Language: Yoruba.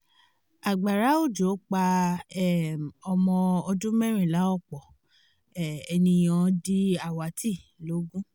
agbára òjò pa um ọmọ ọdún mẹ́rìnlá ọ̀pọ̀ um ènìyàn di àwátì logun